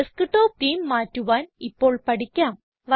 desktop theme മാറ്റുവാൻ ഇപ്പോൾ പഠിക്കാം